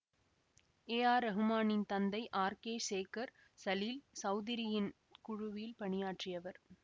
ஏ R ரஹ்மானின் தந்தை R K Sekhar Salil சௌதுரியின் குழுவில் பணியாற்றியவர்